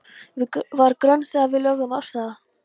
Var grönn þegar við lögðum af stað.